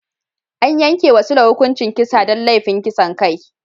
An yanke wa Sule hukuncin kisa don laifin kisan kai.